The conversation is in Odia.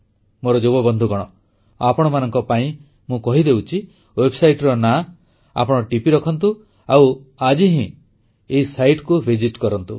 ମୋର ଯୁବ ବନ୍ଧୁଗଣ ଆପଣମାନଙ୍କ ପାଇଁ ମୁଁ କହିଦେଉଛି ୱେବସାଇଟର ନାଁ ଆପଣ ଟିପି ରଖନ୍ତୁ ଆଉ ଆଜି ହିଁ ଏହି ସାଇଟକୁ ଭିଜିଟ୍ କରନ୍ତୁ